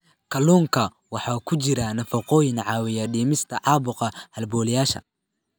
Kalluunka waxaa ku jira nafaqooyin caawiya dhimista caabuqa halbowlayaasha.